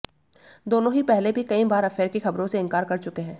दोनों ही पहले भी कई बार अफेयर की खबरों से इंकार कर चुके हैं